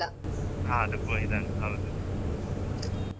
ಹೌದು ಕೋ ಹೌದು .